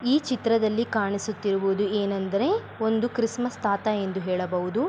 ಈ ಚಿತ್ರದಲ್ಲಿ ಕಾಣಿಸುತ್ತಿರುವುದು ಎನೆಂದರೆ ಒಂದು ಕ್ರಿಸಮಸ್‌ ತಾತಾ ಎಂದು ಹೆಳಬಹುದು .